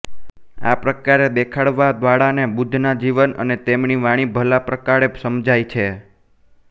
આ પ્રકારે દેખાડવા વાળા ને બુદ્ધના જીવન અને તેમની વાણી ભલા પ્રકારે સમજાય છે